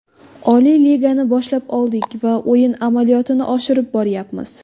Oliy Ligani boshlab oldik va o‘yin amaliyotini oshirib boryapmiz.